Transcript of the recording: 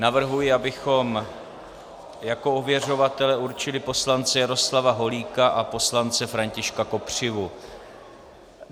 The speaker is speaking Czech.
Navrhuji, abychom jako ověřovatele určili poslance Jaroslava Holíka a poslance Františka Kopřivu.